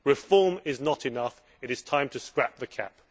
Reform is not enough it is time to scrap the CAP.